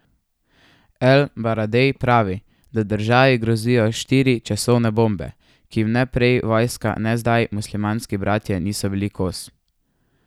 El Baradej pravi, da državi grozijo štiri časovne bombe, ki jim ne prej vojska ne zdaj Muslimanski bratje niso bili kos.